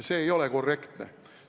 See ei ole korrektne.